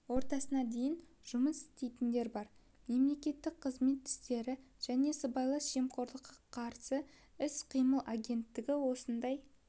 ортасына дейін жұмыс істейтіндер бар мемлекеттік қызмет істері және сыбайлас жемқорлыққа қарсы іс-қимыл агенттігі осындай